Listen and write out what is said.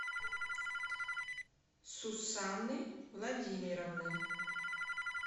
сусаны владимировны